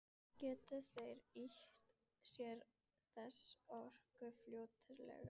Gætu þeir nýtt sér þessa orku fljótlega?